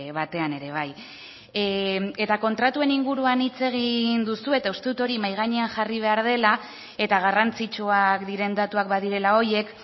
batean ere bai eta kontratuen inguruan hitz egin duzu eta uste dut hori mahai gainean jarri behar dela eta garrantzitsuak diren datuak badirela horiek